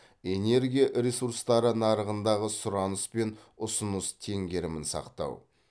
энергия ресурстары нарығындағы сұраныс пен ұсыныс теңгерімін сақтау